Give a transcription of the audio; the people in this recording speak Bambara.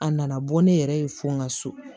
A nana bɔ ne yɛrɛ ye fɔ n ka so